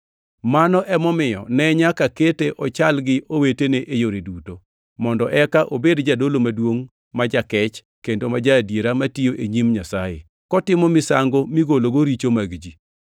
Mano emomiyo ne nyaka kete ochal gi owetene e yore duto, mondo eka obed jadolo maduongʼ ma jakech kendo ma ja-adiera matiyo e nyim Nyasaye, kotimo misango migologo richo mag ji.